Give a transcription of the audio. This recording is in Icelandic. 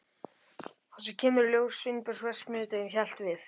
Og svo kemur í ljós að Sveinbjörn verksmiðjueigandi hélt við